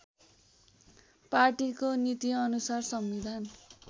पार्टीको नीतिअनुसार संविधान